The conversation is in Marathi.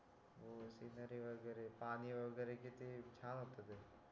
हो सिनरी वगैरे पाणी वगैरे किती छान होत ते